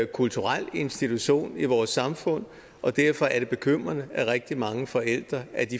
kulturel institution i vores samfund og derfor er det bekymrende at rigtig mange forældre